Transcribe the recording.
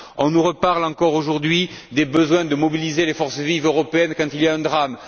On nous reparle, encore aujourd'hui, des besoins de mobiliser les forces vives européennes quand il y a un drame.